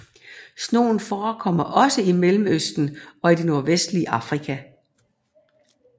Snogen forekommer også i Mellemøsten og i det nordvestlige Afrika